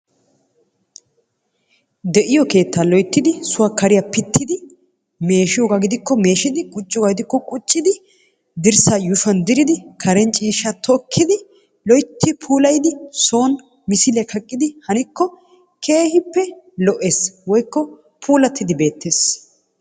De'iyo keettaa loyittidi suwa kariya pittidi meeshiyoogaa gidikko meeshidi qucciyogaa gidikko quccidi dirssaa yuushuwan diridi Karen ciishshaa tokkidi loyitti puulayidi son misiliya kaqqidi hanikko keehippe lo'ees woykko puulattidi beettees.